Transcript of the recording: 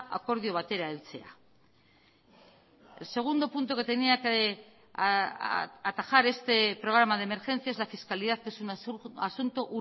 akordio batera eltzea segundo punto que tenía que atajar este programa de emergencias la fiscalidad es un asunto